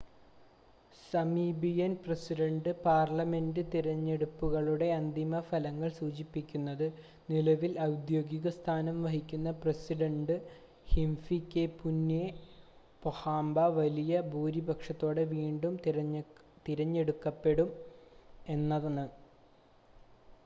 Namibian president parliament തിരഞ്ഞെടുപ്പുകളുടെ അന്തിമ ഫലങ്ങൾ സൂചിപ്പിക്കുന്നത് നിലവിൽ ഔദ്യോഗിക സ്ഥാനം വഹിക്കുന്ന പ്രസിഡണ്ട് ഹിഫികെപുന്യെ പൊഹാംബ വലിയ ഭൂരിപക്ഷത്തോടെ വീണ്ടും തിരഞ്ഞെടുക്കപ്പെട്ടു എന്നാണ്